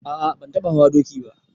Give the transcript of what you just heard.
A a ban taɓa hawa doki ba.